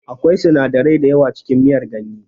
Akwai sinadarai dayawa cikin miyar ganye